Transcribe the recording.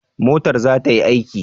Motar za ta yi aiki?